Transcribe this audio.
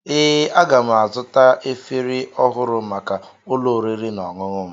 Ee, aga m azụta efere ọhụrụ maka ụlọ oriri na ọṅụṅụ m.